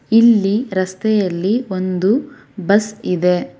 ಇಲ್ಲಿ ರಸ್ತೆಯಲ್ಲಿ ಒಂದು ಬಸ್ ಇದೆ.